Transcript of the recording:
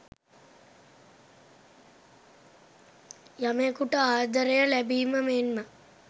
යමෙකුට ආදරය ලැබීම මෙන්ම